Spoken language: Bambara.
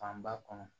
Fanba kɔnɔ